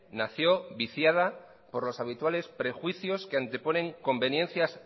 nació viciada por los habituales prejuicios que anteponen conveniencias